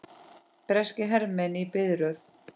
Breskir hermenn í biðröð.